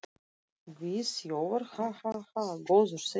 Við þjófar, ha, ha, ha. góður þessi!